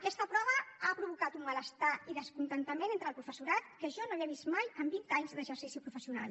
aquesta prova ha provocat un malestar i descontentament entre el professorat que jo no havia vist mai en vint anys d’exercici professional